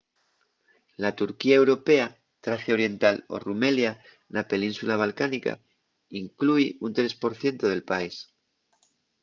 la turquía europea tracia oriental o rumelia na península balcánica inclúi un 3% del país